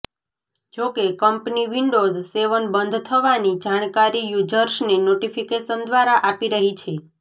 જોકે company Windows seven બંધ થવાની જાણકારી યુઝર્સને નોટિફિકેશન દ્વારા આપી રહી છે